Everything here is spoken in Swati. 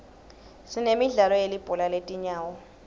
sinemidlalo yelibhola letinyawo